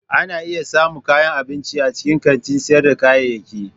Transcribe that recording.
Ana iya samun kayan abinci a cikin kantin sayar da kayayyaki.